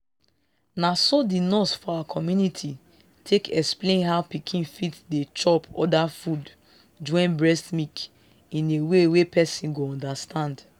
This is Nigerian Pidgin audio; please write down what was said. naso the nurse for our community take explain how pikin fit dey chop other food join breast milk in a way wey person go understand.